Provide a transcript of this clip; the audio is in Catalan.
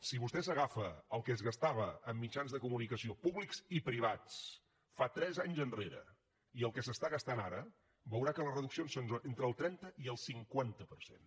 si vostè agafa el que es gastava en mitjans de comunicació públics i privats tres anys enrere i el que s’està gastant ara veurà que les reduccions són entre el trenta i el cinquanta per cent